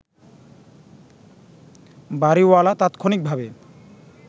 বাড়িওয়ালা তাৎক্ষণিকভাবে